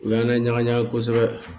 U y'an laɲaga ɲaga kosɛbɛ